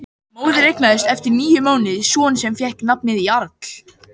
Móðir eignaðist eftir níu mánuði son sem fékk nafnið Jarl.